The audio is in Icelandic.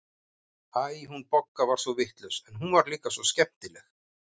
Æ, hún Bogga var svo vitlaus, en hún var líka svo skemmtileg.